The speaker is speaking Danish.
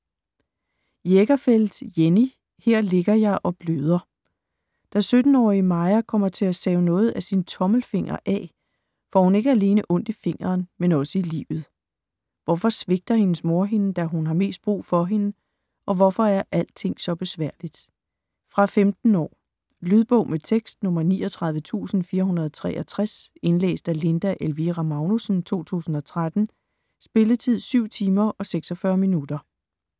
Jägerfeld, Jenny: Her ligger jeg og bløder Da 17-årige Maja kommer til at save noget af sin tommelfinger af, får hun ikke alene ondt i fingeren, men også i livet. Hvorfor svigter hendes mor hende, da hun har mest brug for hende, og hvorfor er alting så besværligt? Fra 15 år. Lydbog med tekst 39463 Indlæst af Linda Elvira Magnussen, 2013. Spilletid: 7 timer, 46 minutter.